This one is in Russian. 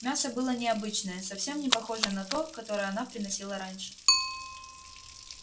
мясо было необычное совсем не похожее на то которое она приносила раньше